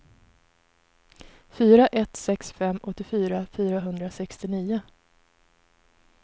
fyra ett sex fem åttiofyra fyrahundrasextionio